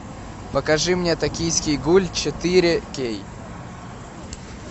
покажи мне токийский гуль четыре кей